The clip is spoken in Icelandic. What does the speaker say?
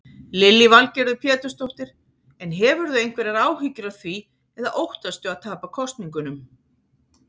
Lillý Valgerður Pétursdóttir: En hefurðu einhverjar áhyggjur af því eða óttastu að tapa kosningunum?